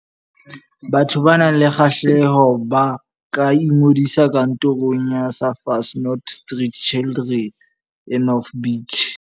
Batho ba nang le kgahleho ba ka ingodisa Kantorong ya Surfers Not Street Children e North Beach.